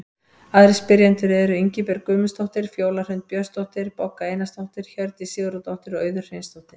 Aðrir spyrjendur eru: Ingibjörg Guðmundsdóttir, Fjóla Hrund Björnsdóttir, Bogga Einarsdóttir, Hjördís Sigurðardóttir og Auður Hreinsdóttir.